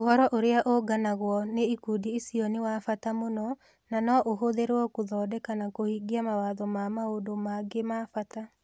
Ũhoro ũrĩa ũũnganagwo nĩ ikundi icio nĩ wa bata mũno na no ũhũthĩrũo gũthondeka na kũhingia mawatho na maũndũ mangĩ ma bata.